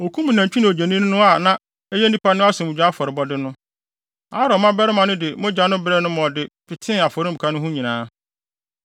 Okum nantwi ne odwennini no a ɛyɛ nnipa no asomdwoe afɔrebɔde no. Aaron mmabarima no de mogya no brɛɛ no ma ɔde petee afɔremuka no ho nyinaa.